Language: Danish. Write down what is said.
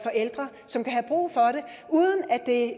ældre som kan have brug for det